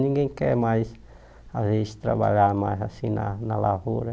Ninguém quer mais, às vezes, trabalhar mais assim na na lavoura.